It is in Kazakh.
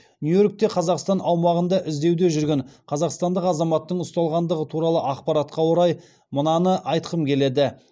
нью йоркте қазақстан аумағында іздеуде жүрген қазақстандық азаматтың ұсталғандығы туралы ақпаратқа орай мынаны айтқым келеді